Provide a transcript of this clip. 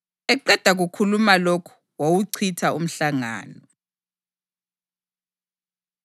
Eqeda kukhuluma lokhu, wawuchitha umhlangano.